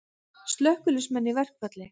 Slökkviliðsmenn í verkfall